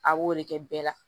A b'o de kɛ bɛɛ la